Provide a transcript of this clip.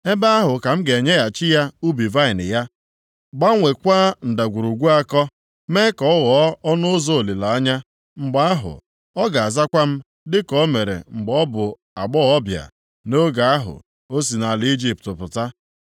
Ebe ahụ ka m ga-enyeghachi ya ubi vaịnị ya, gbanweekwa Ndagwurugwu Akọ, mee ka ọ ghọọ ọnụ ụzọ olileanya. Mgbe ahụ, ọ ga-azakwa m dịka o mere mgbe ọ bụ agbọghọbịa, nʼoge ahụ o si nʼala Ijipt pụta.